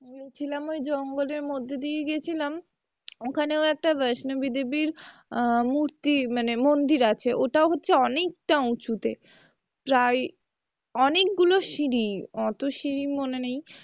গিয়েছিলাম ওই জঙ্গলের মধ্যে দিয়ে গিয়েছিলাম ওখানেও একটা বৈষ্ণবী দেবীর আহ মুরতি মানে মন্দির আছে ওটাও হচ্ছে অনেকটা উঁচুতে প্রায় অনেকগুলো সিঁড়ি অতোগুলো সিঁড়ি মনে নেই,